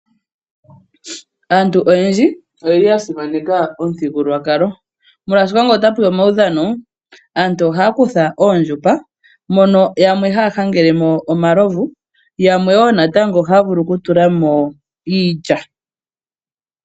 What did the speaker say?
Aantu oyendji oyeli yasimaneka omuthigululwakalo molwaashoka ,ngele ota peya omawudhano aantu ohaya kutha oondjupa mono yamwe haya hangelemo omalovu , yamwe wo natango ohaya vulu okutulamo iilya.